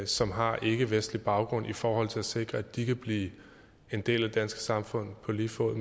som har ikkevestlig baggrund i forhold til at sikre at de kan blive en del af det danske samfund på lige fod